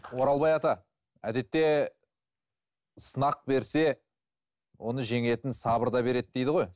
оралбай ата әдетте сынақ берсе оны жеңетін сабыр да береді дейді ғой